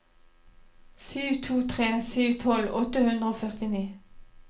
sju to tre sju tolv åtte hundre og førtini